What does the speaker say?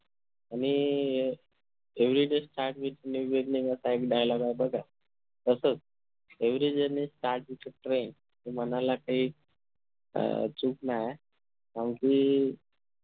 आणि अह everyday start with new journey असा एक Dialouge आहे बघा तसाच every journey start with a train हे म्हणायला काई चूक नाय आणखी